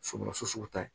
Somɔgɔso ta ye